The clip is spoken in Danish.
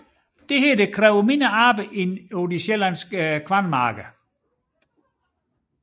Dette krævede mindre arbejde end på de sjællandske kornmarker